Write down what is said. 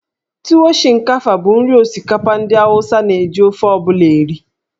Tuwo Shinkafa bụ nri osikapa ndị Awụsa na-eji ofe ọ bụla eri.